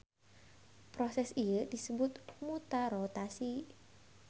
Proses ieu disebut mutarotasi.